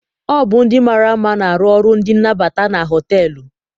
Ọ bụ ndị mara mma na-arụ ọrụ ndị nnabata na họteelụ.